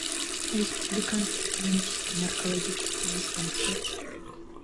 республиканский клинический наркологический диспансер